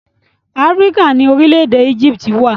Áfíríkà ni orílẹ̀-èdè Éjíptì wà.